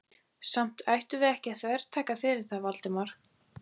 Samt ættum við ekki að þvertaka fyrir það, Valdimar.